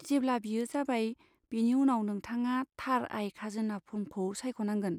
जेब्ला बेयो जाबाय, बेनि उनाव नोंथाङा थार आय खाजोना फर्मखौ सायख'नांगोन।